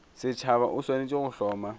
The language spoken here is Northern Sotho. setšhaba o swanetše go hloma